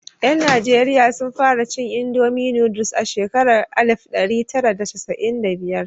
Yan Nijeriya sun fara cin Indomi nooduls a shekarar alif ɗari tara da casa'in da biyar.